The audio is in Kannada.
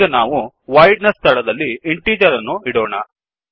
ಈಗ ನಾವು voidವೊಯಿಡ್ನ ಸ್ಥಳದಲ್ಲಿ ಇಂಟೀಜರ್ ಅನ್ನು ಇಡೋಣ